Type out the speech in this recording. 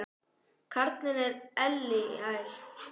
Karlinn er elliær.